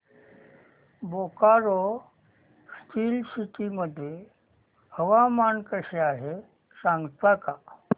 Bokaro steel city मध्ये हवामान कसे आहे सांगता का